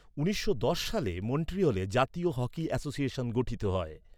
উনিশশো দশ সালে, মন্ট্রিয়লে জাতীয় হকি অ্যাসোসিয়েশন গঠিত হয়।